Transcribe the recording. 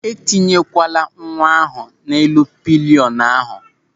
E tinyekwala nwa ahụ n'elu pịlịọnụ ahụ!